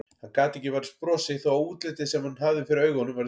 Hann gat ekki varist brosi þó að útlitið sem hann hafði fyrir augunum væri dökkt.